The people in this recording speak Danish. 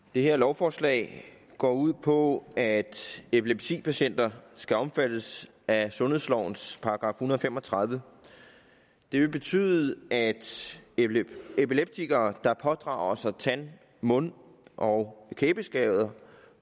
det her lovforslag går ud på at epilepsipatienter skal omfattes af sundhedslovens § en hundrede og fem og tredive det vil betyde at epileptikere der pådrager sig tand mund og kæbeskader